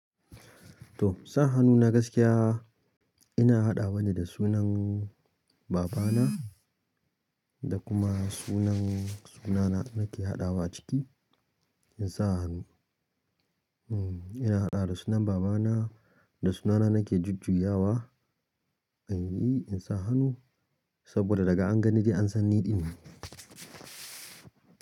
To sa hannu na gaskiya ina haɗawa ne da sunan baba na da kuma sunan suna na nake haɗawa ciki in sa hannu. Mm ina haɗa da sunan baba na da suna na nake jujjuya wa inyi in sa hannu saboda daga anganin dai an san ni ɗin ne.